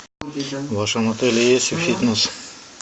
в вашем отеле есть фитнес